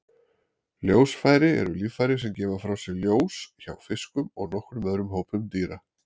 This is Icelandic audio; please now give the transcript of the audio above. Ljósfæri eru líffæri sem gefa frá sér ljós hjá fiskum og nokkrum öðrum hópum dýra.